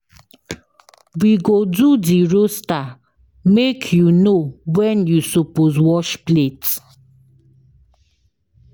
We go do di roaster make you know wen you suppose wash plate.